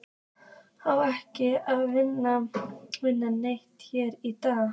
Á ekki að vinna neitt hérna í dag?